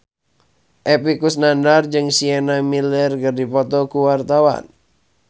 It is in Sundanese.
Epy Kusnandar jeung Sienna Miller keur dipoto ku wartawan